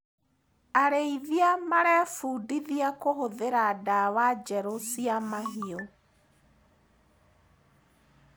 Arĩithia marebundithia kũhũthĩra ndawa njerũ cia mahiũ.